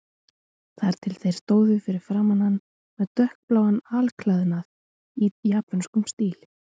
Þar til þeir stóðu fyrir framan hann með dökkbláan alklæðnað í japönskum stíl.